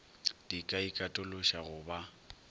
di ka ikatološa go ba